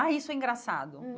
Ah, isso é engraçado.